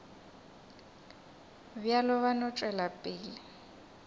bjalo ba no tšwela pele